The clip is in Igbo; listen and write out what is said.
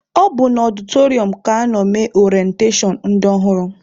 Ọ bụ na ọdịtọrịọm ka anọ mee orentashọn ndị ọhụrụ.